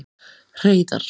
Hreiðar